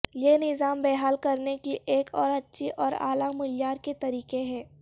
یہ نظام بحال کرنے کی ایک اور اچھی اور اعلی معیار کے طریقہ ہے